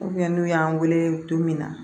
n'u y'an wele don min na